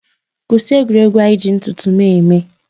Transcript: Kwụsị egwuregwu a iji ntụtụ m eme.